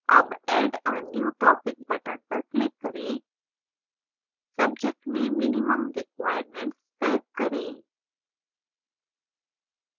add add a new topic button पर click करें subject में minimum requirements type करें